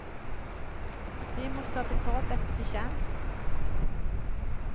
De måste ha betalt efter förtjänst.